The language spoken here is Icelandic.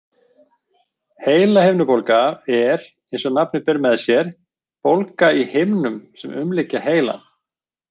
Heilahimnubólga er eins og nafnið ber með sér bólga í himnum sem umlykja heilann.